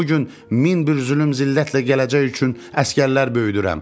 Günü bu gün min bir zülüm zillətlə gələcək üçün əsgərlər böyüdürəm.